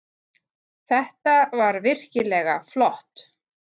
Þetta var virkilega flott.